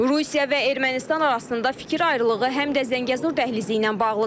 Rusiya və Ermənistan arasında fikir ayrılığı həm də Zəngəzur dəhlizi ilə bağlıdır.